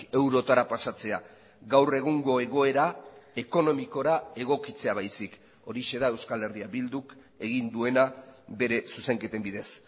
eurotara pasatzea gaur egungo egoera ekonomikora egokitzea baizik horixe da euskal herria bilduk egin duena bere zuzenketen bidez